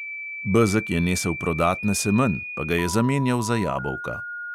Bezeg je nesel prodat na semenj, pa ga je zamenjal za jabolka.